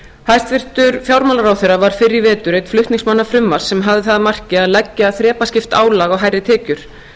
hæstvirtur fjármálaráðherra var fyrr í vetur einn flutningsmanna frumvarps sem hafði það að marki að leggja þrepaskipt álag á hærri tekjur